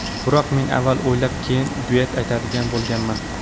Biroq, men avval o‘ylab, keyin duet aytadigan bo‘lganman.